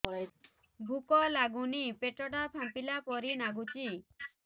ଭୁକ ଲାଗୁନି ପେଟ ଟା ଫାମ୍ପିଲା ପରି ନାଗୁଚି